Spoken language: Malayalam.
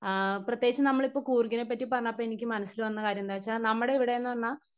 സ്പീക്കർ 1 ആ പ്രേത്യേകിച് നമ്മളിപ്പ് കൂർഗയെ പറ്റി പറഞ്ഞപ്പോ എനിക്ക് മനസ്സിൽ വന്ന കാര്യം എന്താച്ചാ നമ്മടെ ഇവിടെന്ന് പറഞ്ഞാ